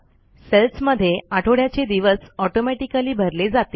cells मध्ये आठवड्याचे दिवस Automaticallyभरले जातील